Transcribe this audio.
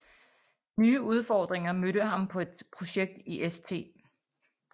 Nye udfordringer mødte ham på et projekt i St